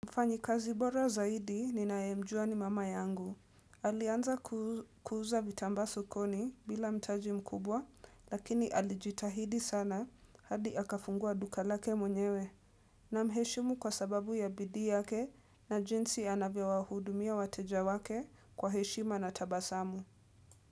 Mfanyikazi bora zaidi ninayemjua ni mama yangu. Alianza kuuza vitamba sokoni bila mtaji mkubwa lakini alijitahidi sana hadi akafungua duka lake mwenyewe. Na mheshimu kwa sababu ya bidii yake na jinsi anavyowa hudumia wateja wake kwa heshima na tabasamu.